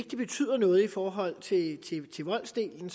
betyder noget i forhold til voldsdelen